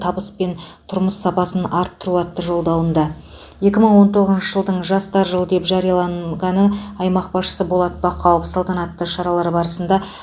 табыс пен тұрмыс сапасын арттыру атты жолдауында екі мың он тоғызыншы жылдың жастар жылы деп жарияланғаны аймақ басшысы болат бақауов салтанатты шаралары барысында